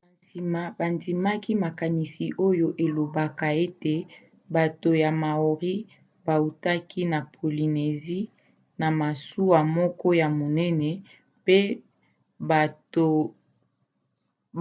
na nsima bandimaki makanisi oyo elobaka ete bato ya maori bautaki na polynésie na masuwa moko ya monene mpe